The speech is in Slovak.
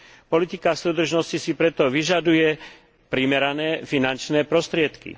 Politika súdržnosti si preto vyžaduje primerané finančné prostriedky.